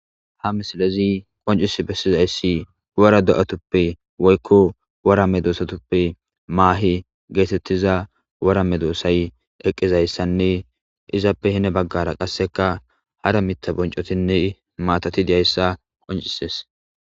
ha misilezi qoncis bessizayssi wora do7atuppe woykko woramme doosatuppe maahi geetettiza warame doossay eqqizayssanne izappe hine baggara qasseka hara mitta boncotinne maatati diyayssa qoncises